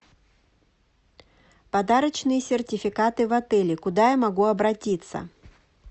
подарочные сертификаты в отеле куда я могу обратиться